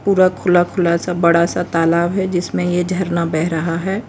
पूरा खुला खुला सा बड़ा सा तालाब है जिसमें यह झरना बह रहा है।